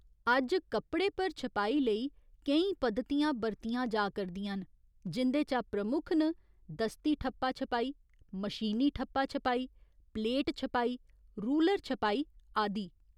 अज्ज कपड़े पर छपाई लेई केईं पद्धतियां बरतियां जा करदियां न, जिं'दे चा प्रमुख न दस्ती ठप्पा छपाई, मशीनी ठप्पा छपाई, प्लेट छपाई, रूलर छपाई आदि।